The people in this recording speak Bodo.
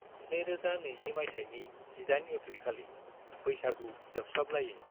2020 माइथाइनि 18 एप्रिलखालि, बैसागु जोबस्लाबलायै।